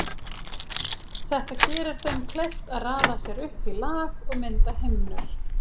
Þetta gerir þeim kleift að raða sér upp í lag og mynda himnur.